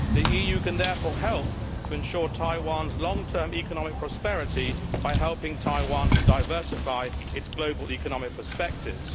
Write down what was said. The EU can therefore help to ensure Taiwan's long term economic prosperity by helping Taiwan to diversify its global economic perspectives.